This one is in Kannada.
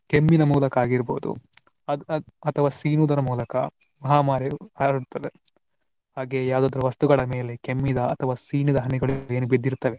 ಕೆಮ್ಮಿನ ಮೂಲಕ ಆಗಿರಬಹುದು ಅಥವಾ ಸೀನುವುದರ ಮೂಲಕ ಮಹಾಮಾರಿ ಹರಡ್ತದೆ. ಹಾಗೇ ಯಾವುದಾದರೂ ವಸ್ತುಗಳ ಮೇಲೆ ಕೆಮ್ಮಿದ ಅಥವಾ ಸೀನಿದ ಹನಿಗಳು ಏನು ಬಿದ್ದಿರ್ತವೆ